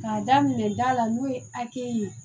K'a daminɛ da la n'o ye hakɛ ye